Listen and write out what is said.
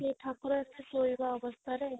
ସେ ଠାକୁର ଶୋଇବା ଅବସ୍ଥାରେ